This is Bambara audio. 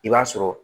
I b'a sɔrɔ